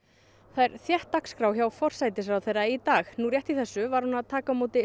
það er þétt dagskrá hjá forsætisráðherra í dag nú rétt í þessu var hún að taka á móti